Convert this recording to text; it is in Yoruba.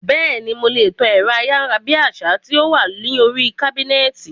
Bẹ́ẹ̀ni, mo lè tan ẹ̀rọ ayárabíàṣá tí ó wà ní oríi kábínẹ̀tì